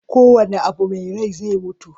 ko wane Abu Mai Rai zai mutu